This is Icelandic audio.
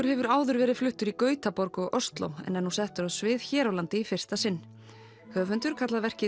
hefur áður verið fluttur í Gautaborg og Osló en er nú settur á svið hér á landi í fyrsta sinn höfundur kallar verkið